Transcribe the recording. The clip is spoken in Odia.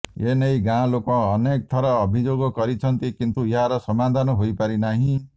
ଏନେଇ ଗାଁ ଲୋକ ଅନେକ ଥର ଅଭିଯୋଗ କରିଛନ୍ତି କିନ୍ତୁ ଏହାର ସମାଧାନ ହୋଇପାରିନାହିଁ